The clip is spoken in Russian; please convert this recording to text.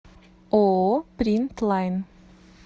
ооо принт лайн